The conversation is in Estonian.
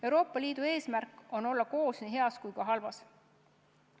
Euroopa Liidu eesmärk on olla koos nii heas kui ka halvas.